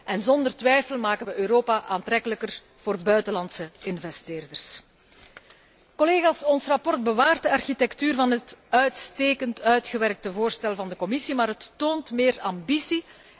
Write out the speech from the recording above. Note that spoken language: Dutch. En zonder twijfel maken wij Europa aantrekkelijker voor buitenlandse investeerders. Collega's, ons verslag bewaart de architectuur van het uitstekend uitgewerkte voorstel van de Commissie, maar het toont meer ambitie